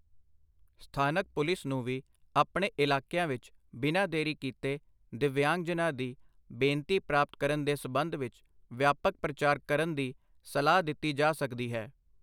ਸਥਾਨਕ ਪੁਲਿਸ ਨੂੰ ਵੀ ਆਪਣੇ ਇਲਾਕੀਆਂ ਵਿੱਚ ਬਿਨਾ ਦੇਰੀ ਕੀਤੇ ਦਿੱਵਯਾਂਗਜਨਾਂ ਦੀ ਬੇਨਤੀ ਪ੍ਰਾਪਤ ਕਰਨ ਦੇ ਸਬੰਧ ਵਿੱਚ ਵਿਆਪਕ ਪ੍ਰਚਾਰ ਕਰਨ ਦੀ ਸਲਾਹ ਦਿੱਤੀ ਜਾ ਸਕਦੀ ਹੈ।